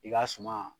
I ka suma